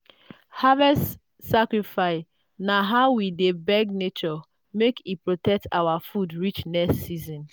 harvest sacrifice na how we dey beg nature make e protect our food reach next season.